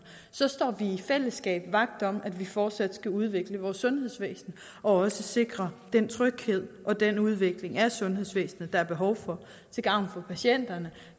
så står vi i fællesskab vagt om at vi fortsat skal udvikle vores sundhedsvæsen og også sikre den tryghed og den udvikling af sundhedsvæsenet der er behov for til gavn for patienterne